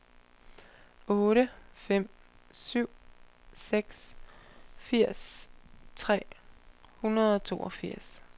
otte fem syv seks firs tre hundrede og toogfirs